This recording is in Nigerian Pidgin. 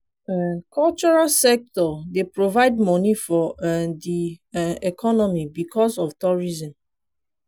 um cultural sector dey provide money for um di um economy because of tourism